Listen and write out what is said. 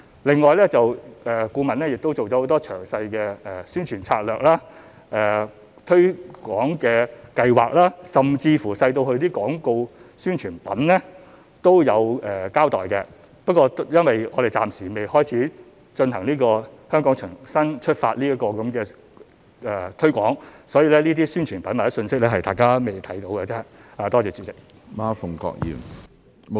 另外，顧問亦提出了很多詳細的宣傳策略、推廣計劃，甚至細微至廣告宣傳品也有交代，不過因為我們暫時未展開"香港重新出發"這項推廣，因此這些宣傳品或信息，大家仍未看到而已。